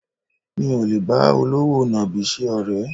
Mi ò lè bá olówò nàbì ṣe ọ̀rẹ́